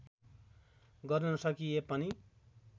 गर्न नसकिए पनि